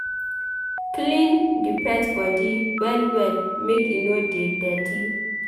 Clean di pet body well well make e no dey dirty